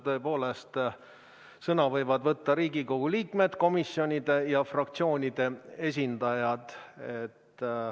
Tõepoolest, sõna võivad võtta Riigikogu liikmed, komisjonide ja fraktsioonide esindajad.